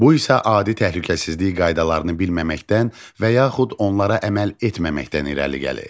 Bu isə adi təhlükəsizlik qaydalarını bilməməkdən və yaxud onlara əməl etməməkdən irəli gəlir.